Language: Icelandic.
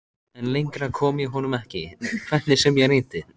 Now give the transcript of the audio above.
En lengra kom ég honum ekki, hvernig sem ég reyndi.